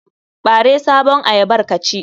Ɓare sabon ayyabar ka ci.